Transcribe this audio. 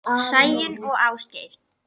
Sæunn og Ásgeir.